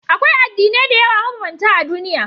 Akwai addinai da yawa mabambanta a duniya.